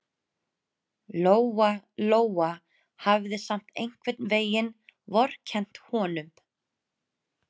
Lóa Lóa hafði samt einhvern veginn vorkennt honum.